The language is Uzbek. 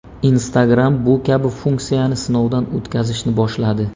Instagram bu kabi funksiyani sinovdan o‘tkazishni boshladi.